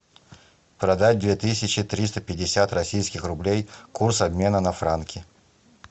продать две тысячи триста пятьдесят российских рублей курс обмена на франки